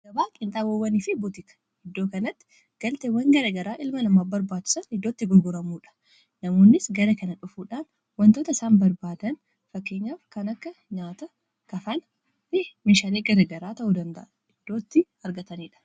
Gaabaa qiinxaboowwanii fi butiika iddoo kanatti galteewwan gara garaa ilma namaa barbaachisan iddootti gurguramuudha. Namoonnis gara kana dhufuudhaan wantoota isaan barbaadan fakkeenyaaf kan akka nyaata, kafaana fi meeshalee gara garaa ta'uu danda'a iddootti argataniidha.